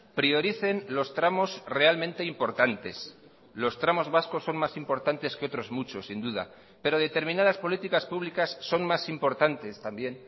prioricen los tramos realmente importantes los tramos vascos son más importantes que otros muchos sin duda pero determinadas políticas públicas son más importantes también